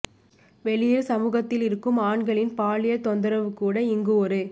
வெளியில் சமூகத்தில் இருக்கும் ஆண்களின் பாலியல் தொந்தரவு கூட இங்கு ஒரு